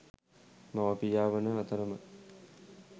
මව, පියා වන අතරම